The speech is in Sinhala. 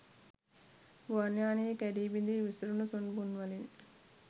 ගුවන් යානයෙන් කැඞී බිඳී විසුරුණු සුන්බුන්වලින්